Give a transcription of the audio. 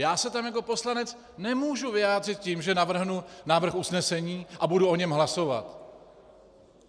Já se tam jako poslanec nemůžu vyjádřit tím, že navrhnu návrh usnesení a budu o něm hlasovat.